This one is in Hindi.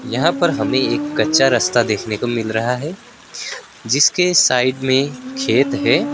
यहां पर हमें एक कच्चा रस्ता देखने को मिल रहा है जिसके साइड में खेत है।